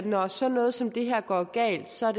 når sådan noget som det her går galt så